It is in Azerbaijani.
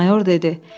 Mayor dedi: